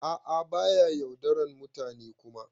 A'a ba ya yaudaran mutane Kuma.